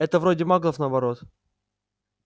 это вроде маглов наоборот